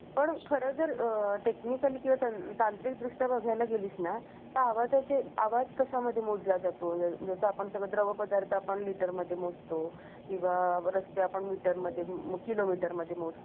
त्या स्त्रीला प्रत्येकजण तुला काही कळत नाही तुला काही येत नाही सारखं तिचं मानसिक बोलण्यातून मानसिक छळ होत असतो त्यामुळे प्रत्येक का स्त्री स्वालंबी होऊन